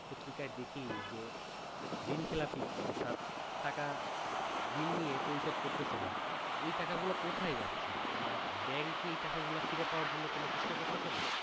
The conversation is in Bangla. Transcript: পত্রিকায় দেখি যে ঋণ খেলাবি অর্থাৎ টাকা ঋণ নিয়ে পরিশোধ করছে না এই টাকাগুলো কোথায় যাচ্ছে আর bank কি এ টাকা গুলো ফিরে পাওয়ার জন্য কোন চেষ্টা করছে না